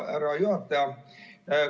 Hea juhataja!